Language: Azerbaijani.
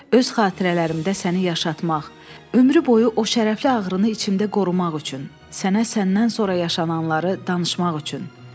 Öz xatirələrimdə səni yaşatmaq, ömrü boyu o şərəfli ağrını içimdə qorumaq üçün, sənə səndən sonra yaşananları danışmaq üçün.